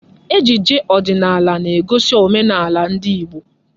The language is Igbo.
Ejije ọdịnala na-egosi omenala ndị Igbo.